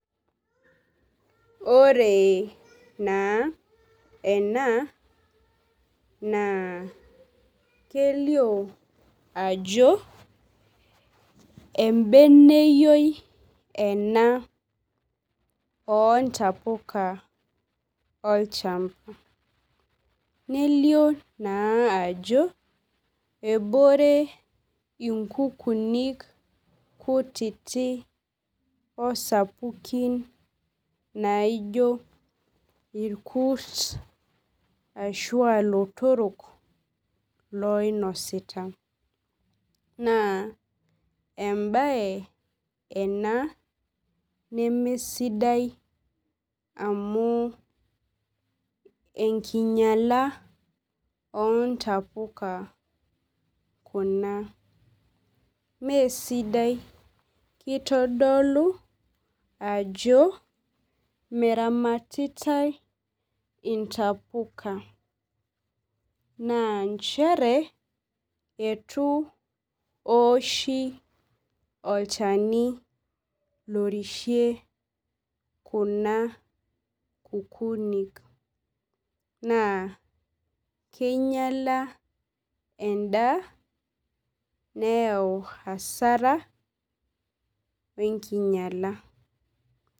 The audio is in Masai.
Ore naa ena naa kelio ajo embeneyioi ena oontapuka olchamba nelioo naa ajo ebore inkukunik kutitik osapukin naio irkurt ashu aa ilotorok liinosita naa embaye ena nemesidai amu enkinyiala oontapuka kuna meesipdai kitodolu ajo meramatitai ntapuka naa nchere itu eoshi olchani lorishie kuna kkukuun naa kinyiala endaa anyau hasara onkinyiala.